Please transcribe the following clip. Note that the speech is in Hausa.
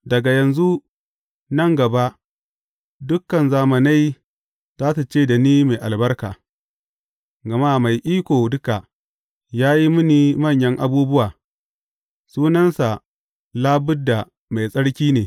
Daga yanzu nan gaba dukan zamanai za su ce da ni mai albarka, gama Mai Iko Duka ya yi mini manyan abubuwa, sunansa labudda Mai Tsarki ne.